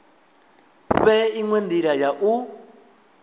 fhe inwe ndila ya u